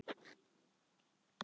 Ragnar Hall: Já.